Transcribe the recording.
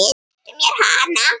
Réttu mér hana